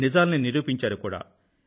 నిజాల్ని నిరూపించారు కూడా